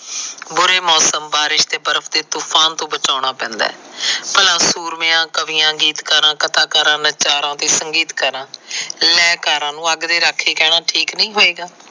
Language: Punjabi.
ਬੁਰੇ ਮੌਸਮ ਬਾਰੇ ਤੇ ਬਰਫ ਦੇ ਤੂਫਾਨ ਤੋ ਬਚਾਉਣਾ ਪੈਦਾ ਏ। ਭਲਾ ਸੂਰਮਿਆਂ, ਕਵਿਆਂ, ਗੀਤਕਾਰਾਂ, ਕਥਾਕਾਰਾਂ, ਨਚਾਰਾ ਤੇ ਸੰਗੀਤਕਾਰਾ ਲੈਅਕਾਰਾਂ ਨੂੰ ਅੱਗ ਦੇ ਰਾਖੇ ਕਹਿਣਾ ਠੀਕ ਨਹੀ ਹੋਏਗਾ।